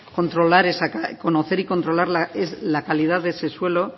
conocer y controlar la calidad de ese suelo